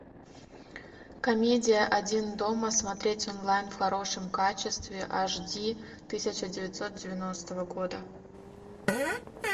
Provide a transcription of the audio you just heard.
комедия один дома смотреть онлайн в хорошем качестве аш ди тысяча девятьсот девяностого года